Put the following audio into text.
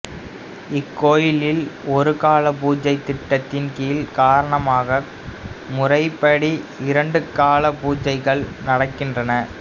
இக்கோயிலில் ஒருகாலப் பூசை திட்டத்தின் கீழ் காரணாகம முறைப்படி இரண்டு காலப் பூசைகள் நடக்கின்றன